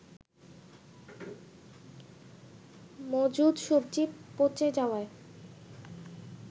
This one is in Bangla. মজুদ সবজি পচে যাওয়ায়